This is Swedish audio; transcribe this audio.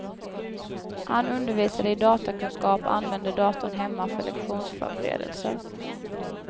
Han undervisade i datakunskap och använde datorn hemma för lektionsförberedelser.